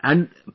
yes Sir